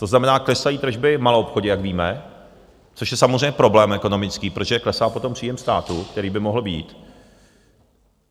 To znamená, klesají tržby v maloobchodě, jak víme, což je samozřejmě problém ekonomický, protože klesá potom příjem státu, který by mohl být.